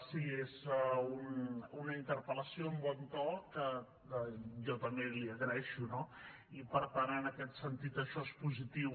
sí és una interpel·lació amb bon to que jo també li agraeixo no i per tant en aquest sentit això és positiu